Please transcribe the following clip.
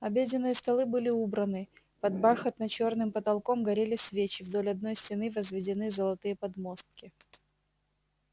обеденные столы были убраны под бархатно-чёрным потолком горели свечи вдоль одной стены возведены золотые подмостки